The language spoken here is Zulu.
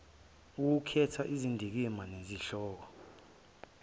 ukukhetha izindikimba nezihloko